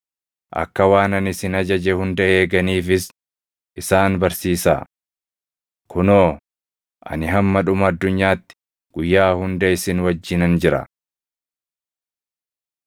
akka waan ani isin ajaje hunda eeganiifis isaan barsiisaa. Kunoo, ani hamma dhuma addunyaatti guyyaa hunda isin wajjinan jira.”